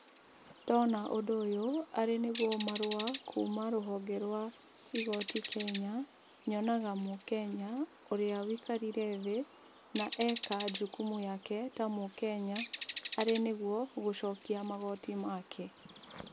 Ndona ũndũ ũyũ arĩ nĩguo marũa kuma rũhonge rwa igoti Kenya, nyonaga mũKenya ũrĩa wikarire thĩ, na eka jukumu yake ta mũKenya arĩ nĩguo gũcokia magoti make.